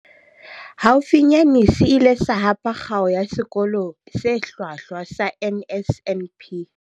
Haufinyane se ile sa hapa Kgao ya Sekolo se Hlwahlwa sa NSNP.